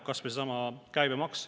Kas või seesama käibemaks.